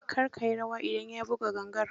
Kar ka yi rawa idan ya buga gangar.